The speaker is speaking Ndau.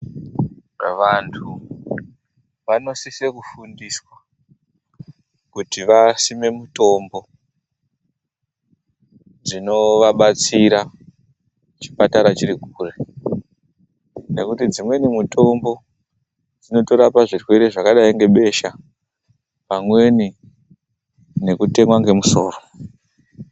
Vanhu vanosise kufundiswa kutivasime mitombo dzinovabatsira chipatara chiri kure. Ngekuti dzimweni mitombo dzinotorapa zvirwere zvakadai ngebesha pamweni ngekutemwa ngemusoro.